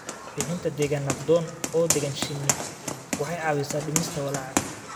Bixinta deegaan nabdoon oo deggan shinni waxay caawisaa dhimista walaaca.